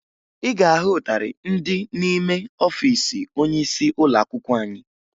Ị ga-ahụ ịtarị ndị n'ime ọfiisi onyeisi ụlọakwụkwọ anyị